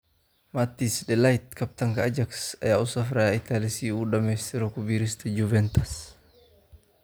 Matthijs de Ligt: Kabtanka Ajax ayaa u safraya Italy si uu u dhamaystiro ku biiristiisa Juventus